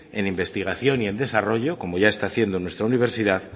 en investigación y desarrollo como ya está haciendo nuestra universidad